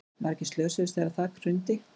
Margir slösuðust þegar þak hrundi